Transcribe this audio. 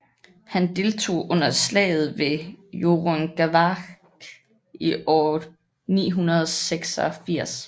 Han deltog under slaget ved Hjörungavágr i år 986